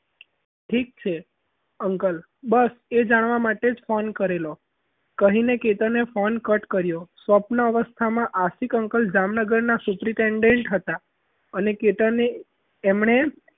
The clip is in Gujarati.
ઠીક છે uncle બસ એ જાણવા માટે જ phone કરેલો કહીને કે તને phone cut કર્યો સપનો અવસ્થામાં આસિફ અંકલ જામનગરના supritent અને કેતન એ તેમને